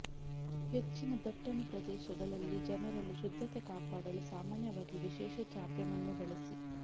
ಹೆಚ್ಚಿನ ದಟ್ಟಣೆ ಪ್ರದೇಶಗಳಲ್ಲಿ ಜನರಲ್ಲಿ ಶುದ್ಧತೆ ಕಾಪಾಡಲು ಸಾಮಾನ್ಯವಾಗಿ ವಿಶೇಷ ಚಾಪೆ ಮಣ್ಣು ಬಳಸಿ